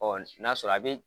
n'a sɔrɔ a be